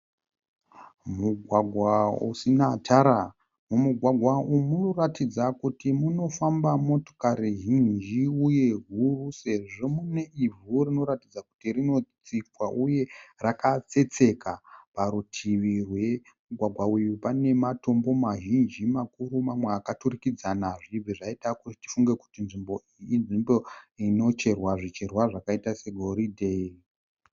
Mugwagwa usina tara. Mumugwagwa umu munoratidza kuti munofamba motikari zhinji uye huru sezvo mune ivhu rinoratidza kuti rinotsikwa uye rakatsetseka. Parutivi rwemugwagwa uyu pane matombo mazhizhi makuru mamwe akaturikadzana zvichibva zvaita kuti tifunge kuti nzvimbo iyi inzvimbo inocherwa zvicherwa zvakaita segoridhe.